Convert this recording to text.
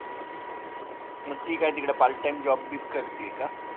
मग ती काय तिकडं part time job बीब करतीये का?